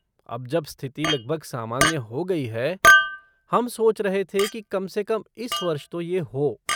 अब जब स्तिथि लगभग सामान्य हो गई है, हम सोच रहे थे कि कम से कम इस वर्ष तो ये हो।